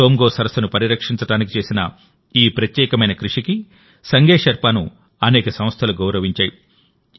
సోమ్గో సరస్సును పరిరక్షించడానికి చేసిన ఈ ప్రత్యేకమైన కృషికి సంగే షెర్పాను అనేక సంస్థలు గౌరవించాయి